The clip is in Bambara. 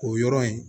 O yɔrɔ in